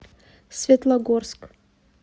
светлогорск